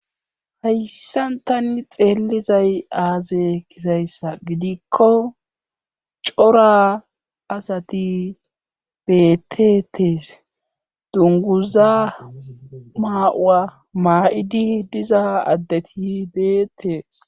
hayssantani xeellizay aaze kisayssa gidikko cora asati beettettees dunguza maa7uwa maa7idi diza addeti deettees